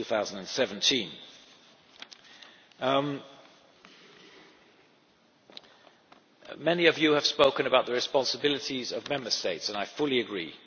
2017. Many of you have spoken about the responsibilities of Member States and I fully agree.